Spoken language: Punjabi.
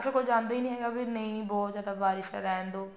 ਕੋਈ ਜਾਂਦਾ ਹੀ ਨੀ ਹੈਗਾ ਵੀ ਬਹੁਤ ਜਿਆਦਾ ਬਾਰਿਸ਼ ਹੈ ਚਲੋ ਰਹਿਣ ਦਿਓ